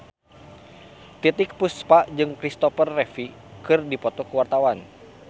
Titiek Puspa jeung Kristopher Reeve keur dipoto ku wartawan